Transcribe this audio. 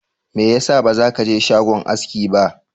Mai yasa baza kaje shagon aski ba?